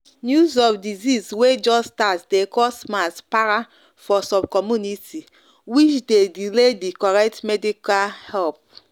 news of disease way just start dey cause mass para for some community which dey delay the correct medical help.